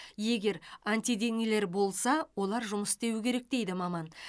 егер антиденелер болса олар жұмыс істеуі керек дейді маман